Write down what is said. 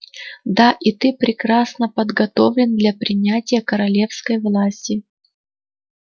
да и ты прекрасно подготовлен для принятия королевской власти